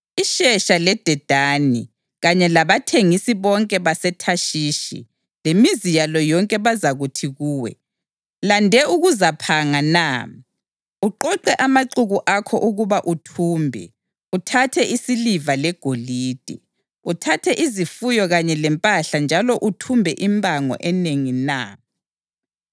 IShebha leDedani kanye labathengisi bonke baseThashishi lemizi yalo yonke bazakuthi kuwe, “Lande ukuzaphanga na? Uqoqe amaxuku akho ukuba uthumbe, uthathe isiliva legolide, uthathe izifuyo kanye lempahla njalo uthumbe impango enengi na?” ’